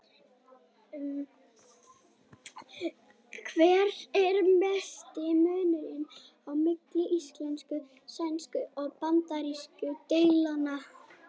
Hver er mesti munurinn á milli íslensku-, sænsku- og bandarísku deildanna?